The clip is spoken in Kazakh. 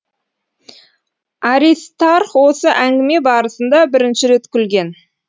аристарх осы әңгіме барысында бірінші рет күлген